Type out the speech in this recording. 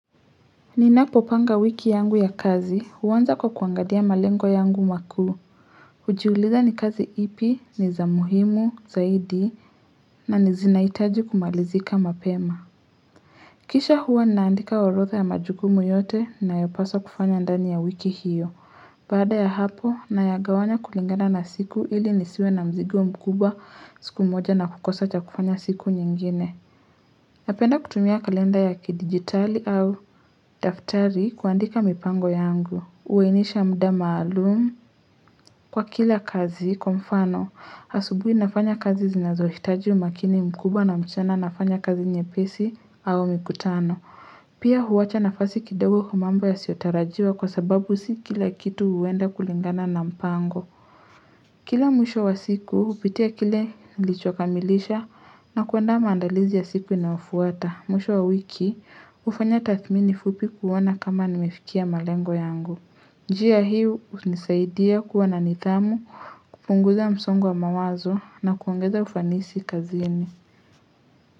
Ninapopanga wiki yangu ya kazi huanza kwa kuangakia malengo yangu makuu hujiuliza ni kazi ipi ni za muhimu zaidi na zinahitaji kumalizika mapema Kisha huwa ninaandika orodha ya majukumu yote ninayopaswa kufanya ndani ya wiki hiyo Baada ya hapo nayagawanya kulingana na siku ili nisiwe na mzigo mkubwa siku moja na kukosa cha kufanya siku nyingine Napenda kutumia kalenda ya kidigitali au daftari kuandika mipango yangu. Uhinisha muda maalum kwa kila kazi kwa mfano. Asubuhi nafanya kazi zinazohitaji umakini mkubwa na mchana nafanya kazi nyepesi au mikutano. Pia huwacha nafasi kidogo kwa mambo yasiotarajiwa kwa sababu si kila kitu huenda kulingana na mpango. Kila mwisho wa siku hupitia kile nilichokamilisha na kuandaa mandalizi ya siku inayofuata. Mwisho wa wiki, hufanya tathmini fupi kuona kama nimefikia malengo yangu. Njia hii, hunisaidia kuwa na nidhamu, kupunguza msongo wa mawazo na kuongeza ufanisi kazini.